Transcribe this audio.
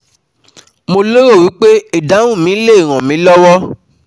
Mo lérò wí pé ìdáhùn mi lè ràn mí lọ́wọ́